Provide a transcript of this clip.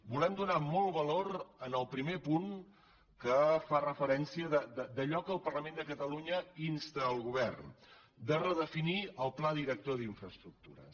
volem donar molt de valor al primer punt que fa referència a allò a què el parlament de catalunya insta el govern a redefinir el pla director d’infraestructures